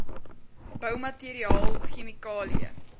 boumateriaal chemikalieë